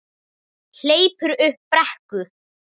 Hleypur upp brekku.